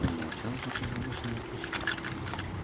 он молчал пока не вышел на площадку